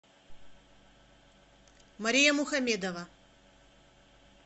мария мухамедова